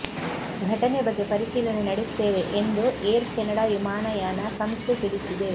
ಘಟನೆ ಬಗ್ಗೆ ಪರಿಶೀಲನೆ ನಡೆಸುತ್ತೇವೆ ಎಂದು ಏರ್ ಕೆನಡಾ ವಿಮಾನಯಾನ ಸಂಸ್ಥೆ ತಿಳಿಸಿದೆ